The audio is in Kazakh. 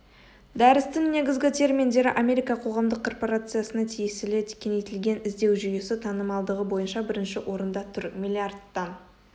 дәрістің негізгі терминдері америка қоғамдық корпорациясына тиесілі кеңейтілген іздеу жүйесі танымалдығы бойынша бірінші орында тұр миллиардтан